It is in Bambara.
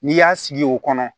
N'i y'a sigi o kɔnɔ